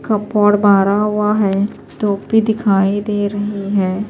.کھپوڈ بارہ ہوا ہیں ٹوپی دکھائی دے رہی ہیں